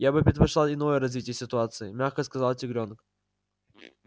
я бы предпочла иное развитие ситуации мягко сказала тигрёнок